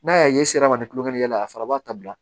N'a y'a ye sira ma ni kulonkɛ y'a la a fana b'a ta bila